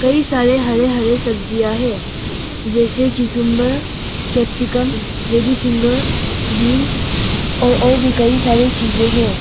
कई सारे हरे हरे सब्जियां है। जैसे cucumber capsicum lady finger beans और और भी कई सारी चीजे हैं।